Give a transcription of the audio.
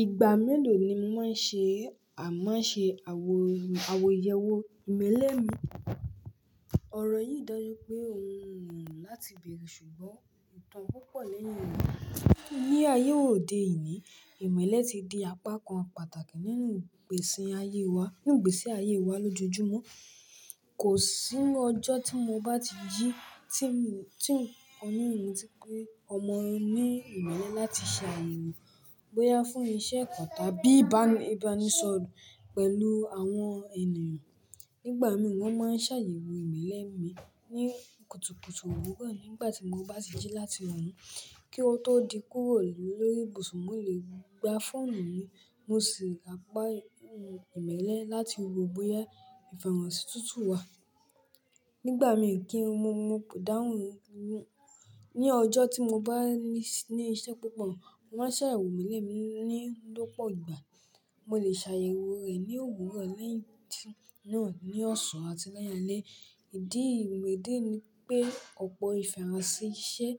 Ìgbà mélòó ni mo máa ń ṣe à máa ṣe àwo- àwọyẹ̀wò ìmọ̀lẹ mi? Òrò yìí ń dọjú pé ohun wù lo láti bèrè, ṣùgbọ́n ìtàn púpọ̀ lẹ́yìn rẹ̀. Ní ayé òde yìí, ìmọ̀le ti di apá kan pàtàkì nínú ìgbésí ayé wa, nínú ìgbésí ayé wa lójoojúmọ́. Kò sí nú ọjọ́ tí mo bá ti jí tí ń- tí ń kò ní òun ti pé ọmọ ní ìmọ̀le láti ṣe àyè wọn, bóyá fún iṣẹ́ kan tàbí ìbá ibánísọ̀rọ̀ pẹ̀lú àwọn ènìyàn. Nígbà mí wọ́n máa ń ṣàyẹ̀wò ìmọ̀lẹ́ mi ní kùtùkùtù òwúrò nígbà tí mo bá ti jí láti wọn kí ó tó di kúrò lórí ibùsùn, mo lè gba fóònù mi mo sì ràgbá ìmọ̀lẹ láti wo bóyá ìfẹ̀hònsí tútù wà. Nígbà mí kí n mu- mo dáhùn. Ni ọjọ́ tí mo bá ní- ní iṣẹ́ púpọ̀, wọ́n ṣàyẹ̀wò ìmọ̀lẹ́ mi ni lọ́pọ̀ ìgbà. Mo lè ṣàyẹ̀wò rẹ̀ ní òwúrọ̀ lẹ́yìn tí náà ní ọ̀sán àti lẹ́yìn alẹ́. Ìdí ní ìdí ní pé ọ̀pọ̀ ìfẹ̀hònsí iṣẹ́